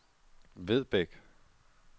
Vedbæk